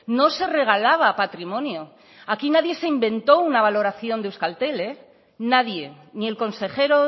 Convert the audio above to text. no se regalaba patrimonio aquí nadie se inventó una valoración de euskaltel nadie ni el consejero